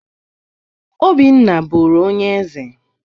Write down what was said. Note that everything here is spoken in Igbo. Obinna bụrụ onye eze.